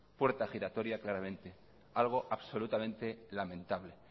puerta giratoria claramente algo absolutamente lamentable